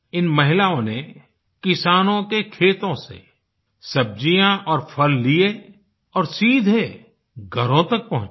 इन महिलाओं ने किसानों के खेतों से सब्जियाँ और फल लिए और सीधे घरों तक पहुँचाए